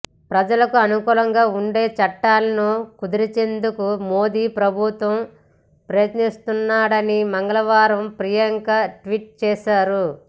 ప్రజలకు అనుకూలంగా ఉండే చట్టాలను కుదించేందుకు మోదీ ప్రభుత్వం యత్నిస్తోందని మంగళవారం ప్రియాంక ట్వీట్ చేశారు